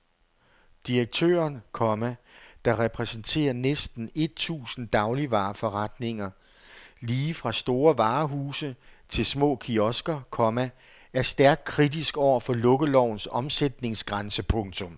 Direktøren, komma der repræsenterer næsten et tusind dagligvareforretninger lige fra store varehuse til små kiosker, komma er stærkt kritisk over for lukkelovens omsætningsgrænse. punktum